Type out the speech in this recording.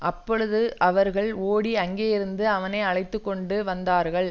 அப்பொழுது அவர்கள் ஓடி அங்கேயிருந்து அவனை அழைத்து கொண்டு வந்தார்கள்